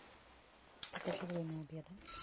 покажи время обеда